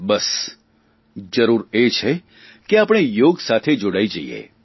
બસ જરૂર એ છે કે આપણે યોગ સાથે જોડાઇ જઇએ